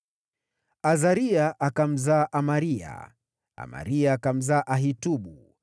Azaria akamzaa Amaria, Amaria akamzaa Ahitubu,